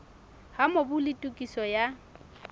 ha mobu le tokiso ya